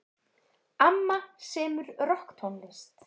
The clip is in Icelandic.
Amma semur rokktónlist.